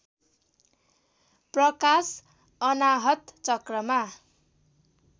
प्रकाश अनाहत चक्रमा